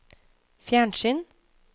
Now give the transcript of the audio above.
fjernsyn